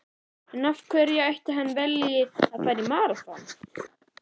En af hverju ætli hann velji að fara í maraþon?